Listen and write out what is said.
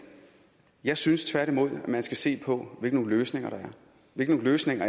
jeg synes tværtimod at man skal se på hvilke løsninger der er hvilke løsninger